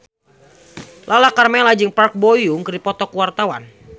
Lala Karmela jeung Park Bo Yung keur dipoto ku wartawan